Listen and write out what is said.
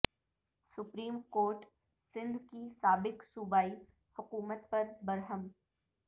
supreme court Sindh کی سابق صوبائی حکومت پر برہم